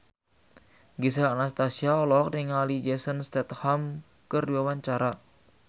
Gisel Anastasia olohok ningali Jason Statham keur diwawancara